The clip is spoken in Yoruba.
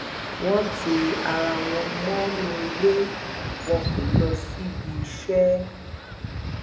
wọn ti ara wọn mọnú ilé wọn kó lọ síbiiṣẹ